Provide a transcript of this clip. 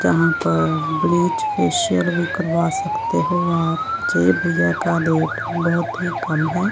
जहां पर bleach facial भी करवा सकते हो आप बहोत ही कम है।